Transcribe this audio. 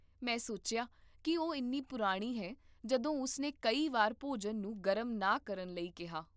ਮੈਂ ਸੋਚਿਆ ਕਿ ਉਹ ਇੰਨੀ ਪੁਰਾਣੀ ਹੈ ਜਦੋਂ ਉਸ ਨੇ ਕਈ ਵਾਰ ਭੋਜਨ ਨੂੰ ਗਰਮ ਨਾ ਕਰਨ ਲਈ ਕਿਹਾ